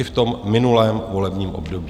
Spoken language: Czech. I v tom minulém volebním období.